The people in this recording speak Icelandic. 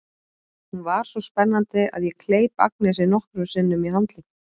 Hún var svo spennandi að ég kleip Agnesi nokkrum sinnum í handlegginn.